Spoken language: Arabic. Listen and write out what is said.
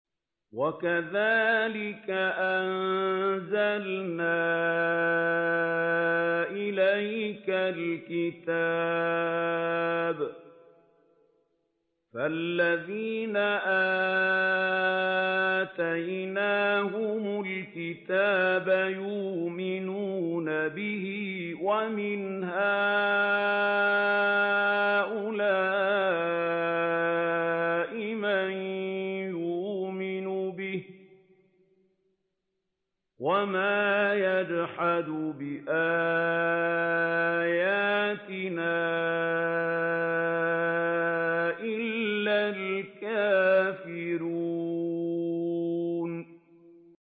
وَكَذَٰلِكَ أَنزَلْنَا إِلَيْكَ الْكِتَابَ ۚ فَالَّذِينَ آتَيْنَاهُمُ الْكِتَابَ يُؤْمِنُونَ بِهِ ۖ وَمِنْ هَٰؤُلَاءِ مَن يُؤْمِنُ بِهِ ۚ وَمَا يَجْحَدُ بِآيَاتِنَا إِلَّا الْكَافِرُونَ